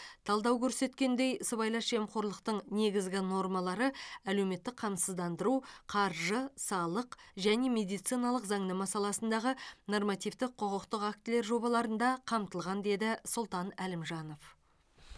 талдау көрсеткендей сыбайлас жемқорлықтың негізгі нормалары әлеуметтік қамсыздандыру қаржы салық және медициналық заңнама саласындағы нормативтік құқықтық актілері жобаларында қамтылған деді сұлтан әлімжанов